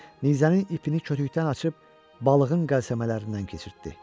Nizənin ipini kütükdən açıb balığın qəlsəmələrindən keçirtdi.